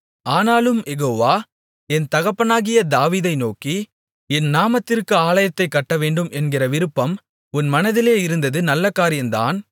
ஆனாலும் யெகோவா என் தகப்பனாகிய தாவீதை நோக்கி என் நாமத்திற்கு ஆலயத்தைக் கட்டவேண்டும் என்கிற விருப்பம் உன் மனதிலே இருந்தது நல்ல காரியந்தான்